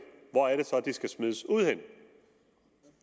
hvor er det så de skal smides ud henne